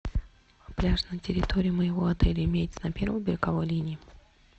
пляж на территории моего отеля имеется на первой береговой линии